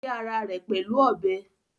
Ó gé ara rẹ̀ pẹ̀lú ọbẹ̀?